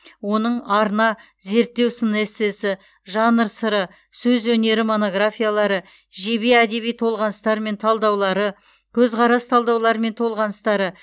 оның арна зерттеу сын эссесі жанр сыры сөз өнері монографиялары жебе әдеби толғаныстар мен талдаулары көзқарас талдаулар мен толғаныстары